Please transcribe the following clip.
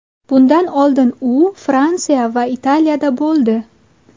Bundan oldin u Fransiya va Italiyada bo‘ldi.